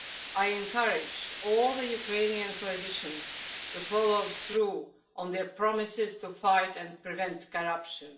I encourage all the Ukrainian politicians to follow through on their promises to fight and prevent corruption.